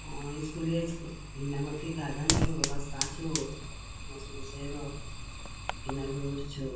आ स्कूलिए उसको इ नमक के गार्डन छो रस्ता छो इना रोड छो।